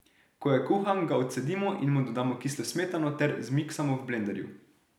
Ko je kuhan, ga odcedimo in mu dodamo kislo smetano ter zmiksamo v blenderju.